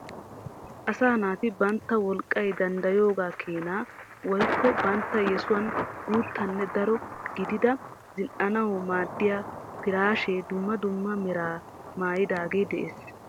Asaa naati bantta wolqqay danddayoogaa keenaa woyikko bantta yesuwan guuttanne daro gidida zin"anawu maaddiya piraashee dumma dumma meraa maayidaagee de'es.